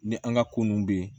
Ni an ka ko ninnu bɛ yen